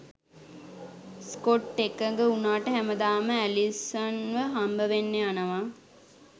Scott එකඟ උනාට හැමදාම ඇලිසන්ව හම්බවෙන්න යනවා.